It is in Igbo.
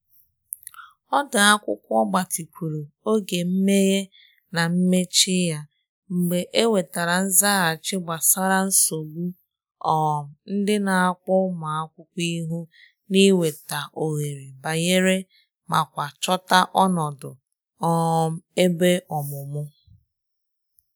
Ọdu akwụkwọ gbatịkwuru oge mmehe na mmechi ya mgbe e nwetara nzaghachi gbasara nsogbu um ndị n'akpọ ụmụ akwụkwọ ihu n’ịnweta ohere banye ma kwa chota ọnọdụ um ebe ọmụmụ.